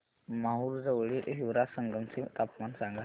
माहूर जवळील हिवरा संगम चे तापमान सांगा